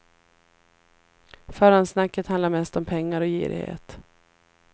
Förhandssnacket handlar mest om pengar och girighet.